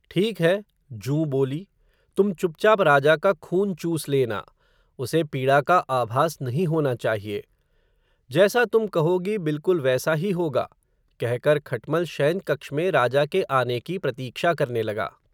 ठीक है. जूँ बोली, तुम चुपचाप राजा का खून चूस लेना, उसे पीड़ा का आभास नहीं होना चाहिए. जैसा तुम कहोगी, बिलकुल वैसा ही होगा. कहकर खटमल, शयनकक्ष में राजा के आने की प्रतीक्षा करने लगा.